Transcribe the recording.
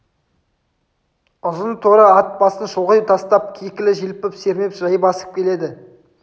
ұзын торы ат басын шұлғи тастап кекілін желпіп сермеп жай басып келеді